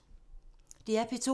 DR P2